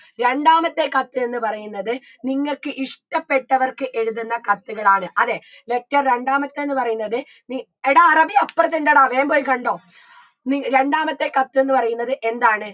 രണ്ടാമത്തെ കത്ത് എന്ന് പറയുന്നത് നിങ്ങക്ക് ഇഷ്ട്ടപ്പെട്ടവർക്ക് എഴുതുന്ന കത്തുകളാണ് അതെ letter രണ്ടാമത്തെ എന്ന് പറയുന്നത് നി എടാ അറബി അപ്പറത്തുണ്ടെടാ വേം പോയ് കണ്ടോ നി രണ്ടാമത്തെ കത്ത് എന്ന് പറയുന്നത് എന്താണ്